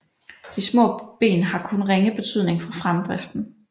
De små ben har kun ringe betydning for fremdriften